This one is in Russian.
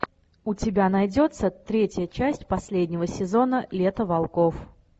у тебя найдется третья часть последнего сезона лето волков